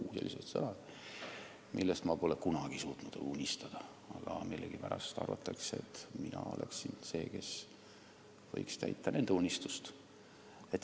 Mina pole kunagi suutnud sellistest asjadest unistada, aga millegipärast arvatakse, et mina olen see, kes võiks täita nende unistusi.